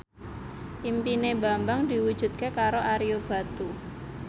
impine Bambang diwujudke karo Ario Batu